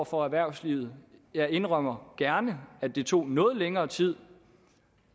for erhvervslivet jeg indrømmer gerne at det tog noget længere tid